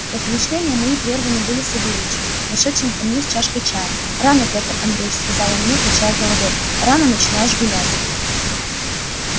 размышления мои прерваны были савельичем вошедшим ко мне с чашкою чая рано пётр андреич сказал он мне качая головою рано начинаешь гулять